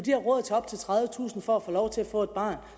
have råd til op til tredivetusind kroner for at få lov til at få et barn